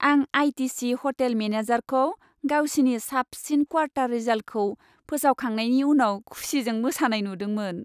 आं ITC. Hotel मेनेजारखौ गावसिनि साबसिन क्वार्टार रिजाल्टखौ फोसावखांनायनि उनाव खुसिजों मोसानाय नुदोंमोन।